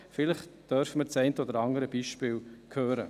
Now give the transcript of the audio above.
Vielleicht dürfen wir das eine oder andere Beispiel hören.